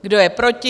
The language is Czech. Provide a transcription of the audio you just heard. Kdo je proti?